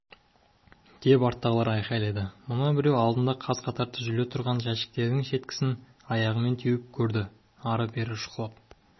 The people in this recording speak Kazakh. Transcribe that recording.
деп арттағылар айқайлады мына біреу алдында қаз-қатар тізулі тұрған жәшіктердің шеткісін аяғымен теуіп көрді ары-бері шұқылап